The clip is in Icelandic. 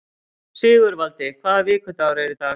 Sigurvaldi, hvaða vikudagur er í dag?